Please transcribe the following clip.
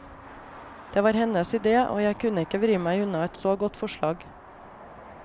Det var hennes ide, og jeg kunne ikke vri meg unna et så godt forslag.